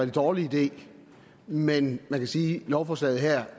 dårlig idé men man kan sige at lovforslaget her